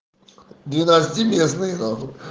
двенадцатиместный нахуй